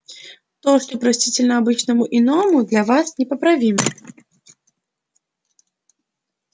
то что простительно обычному иному для вас неправомерно